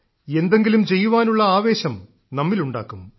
എന്തെങ്കിലും ചെയ്യുവാനുള്ള ആവേശം നമ്മിലുണ്ടാക്കും